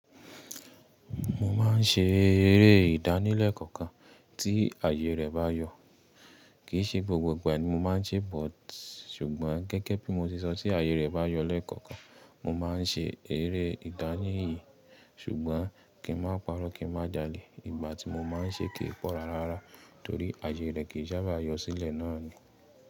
Mo máa ń ṣe eré ìdánilẹ̀kọ̀ọ̀kan tí àyè rẹ̀ bá yọ. Kì í ṣe gbogbo ìgbà ni mo máa ń ṣe but, ṣùgbọ́n gẹ́gẹ́ bí mo ti sọ tí àyè rẹ̀ bá yọ lẹ́ẹ̀kọ̀ọ̀kan, mo máa ń ṣe eré ìdánìyí. Ṣùgbọ́n kí n má pa'rọ́, kí n má jalè, ìgbà tí mo máa ń ṣe kì í pọ̀ rárá, torí àyè rẹ̀ kì í sábà yọ sílẹ̀ náà ni.